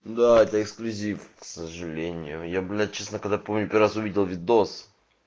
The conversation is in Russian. да это эксклюзив к сожалению я блять честно когда помню первый раз увидел видос